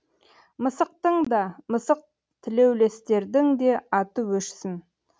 мысықтың да мысық тілеулестердің де аты өшсін